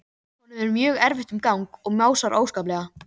Honum er mjög erfitt um gang og másar óskaplega.